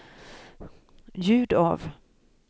ljud av